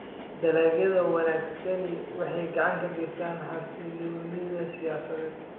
Dalagyada wanaagsani waxay gacan ka geystaan ??xasilloonida siyaasadeed.